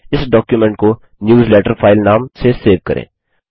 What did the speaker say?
इस डॉक्युमेंट को newsletter file नाम से सेव करें